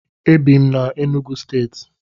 Ebi m na Enugwu stééti